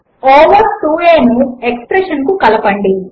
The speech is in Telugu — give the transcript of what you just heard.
ఓవర్ 2aను ఎక్స్ప్రెషన్ కు కలపండి